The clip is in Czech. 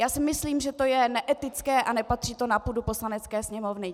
Já si myslím, že to je neetické a nepatří to na půdu Poslanecké sněmovny.